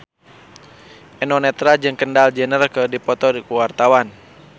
Eno Netral jeung Kendall Jenner keur dipoto ku wartawan